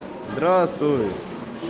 здравствуй